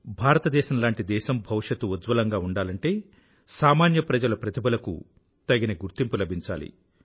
భారతదేశం లాంటి దేశం భవిష్యత్తు ఉజ్వలంగా ఉండాలంటే సామాన్య ప్రజల ప్రతిభలకు తగిన గుర్తింపు లభించాలి